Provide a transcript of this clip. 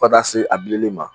Fo ka taa se a bilenli ma.